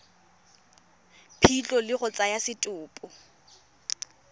phitlho le go tsaya setopo